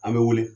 An bɛ wele